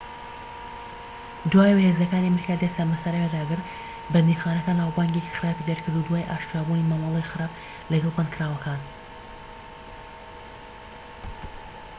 دوای ئەوەی هێزەکانی ئەمریکا دەستیان بەسەر ئەوێدا گرت بەندیخانەکە ناوبانگێکی خراپی دەرکرد دوای ئاشکرابوونی مامەڵەی خراپ لەگەڵ بەندکراوەکان